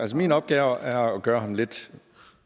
så min opgave er at gøre ham lidt